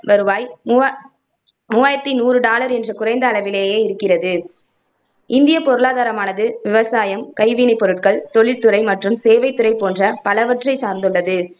வருவாய் மூவ மூவாயிரத்தி நூறு டாலர் என்ற குறைந்த அளவிலேயே இருக்கிறது. இந்தியப் பொருளாதாரமானது விவசாயம், கைவினைப் பொருட்கள், தொழில் துறை, மற்றும் சேவைத் துறை போன்ற பலவற்றைச் சார்ந்துள்ளது.